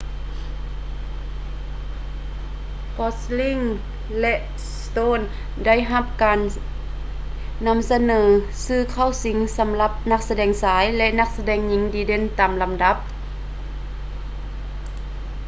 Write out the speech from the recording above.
gosling ແລະ stone ໄດ້ຮັບການນໍາສະເໜີຊື່ເຂົ້າຊິງສໍາລັບນັກສະແດງຊາຍ ແລະ ນັກສະແດງຍິງດີເດັ່ນຕາມລຳດັບ